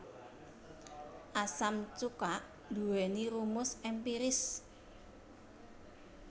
Asam cuka nduwèni rumus èmpiris